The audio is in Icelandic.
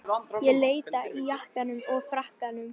Ég leita í jakkanum og frakkanum.